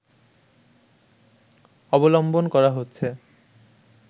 অবলম্বন করা হচ্ছে